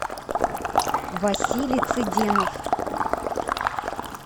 василий цыденов